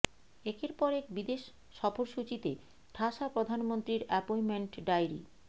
একের পর এক বিদেশ সফরসূচিতে ঠাসা প্রধানমন্ত্রীর অ্যাপয়েন্টমেন্ট ডায়েরি